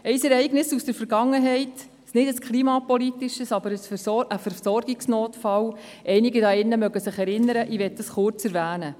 Ein Ereignis aus der Vergangenheit, kein klimapolitisches, aber einen Versorgungsnotfall – einige hier drin erinnern sich daran – möchte ich kurz erwähnen.